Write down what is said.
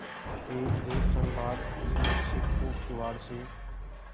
एकदो क्षण बाद उसने सिर को किवाड़ से